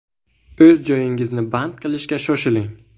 O‘z joyingizni band qilishga shoshiling.